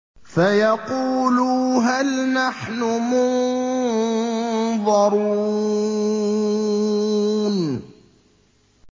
فَيَقُولُوا هَلْ نَحْنُ مُنظَرُونَ